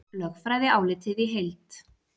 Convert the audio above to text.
Lögfræðiálitið í heild